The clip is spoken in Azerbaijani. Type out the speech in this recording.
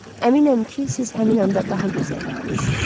Əminəm ki, siz həmin anda daha gözəl idiniz.